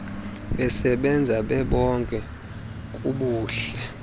besebenza bebonke kubuhle